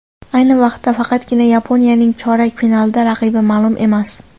Ayni vaqtda faqatgina Yaponiyaning chorak finaldagi raqibi ma’lum emas.